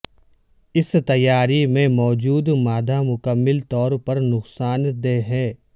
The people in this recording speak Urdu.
اس تیاری میں موجود مادہ مکمل طور پر نقصان دہ ہیں